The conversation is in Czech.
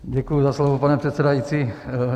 Děkuji za slovo, pane předsedající.